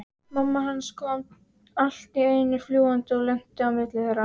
Mamma hans kom allt í einu fljúgandi og lenti á milli þeirra.